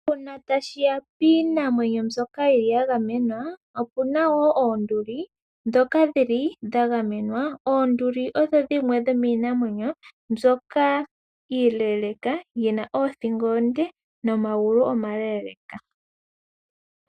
Uuna tashi ya piinamwenyo mbyoka yi li ya gamenwa, opuna wo oonduli dhoka dhi li dha gamenwa. Oonduli odho dhimwe dhomiinamwenyo mbyoka iileleka yi na oothingo oonde nomagulu omaleeleeka.